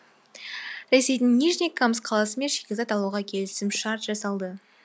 ресейдің нижний камск қаласымен шикізат алуға келісім шарт жасалды